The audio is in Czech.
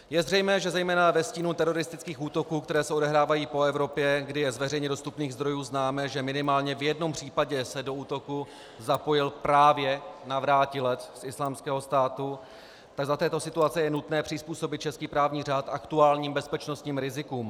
Je zřejmé, že zejména ve stínu teroristických útoků, které se odehrávají po Evropě, kdy je z veřejně dostupných zdrojů známé, že minimálně v jednom případě se do útoku zapojil právě navrátilec z Islámského státu, tak za této situace je nutné přizpůsobit český právní řád aktuálním bezpečnostním rizikům.